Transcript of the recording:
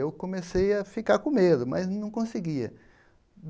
Eu comecei a ficar com medo, mas não conseguia.